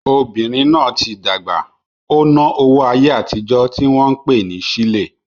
Obìnrin náà tí dàgbà, ó ná owó ayé àtijó tí wọ́n pè ní sílè